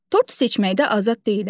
Tort seçməkdə azad deyiləm?